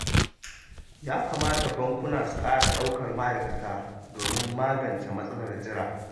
Ya kamata bankuna su ƙara ɗaukan ma'aikata, domin magance matsalar jira.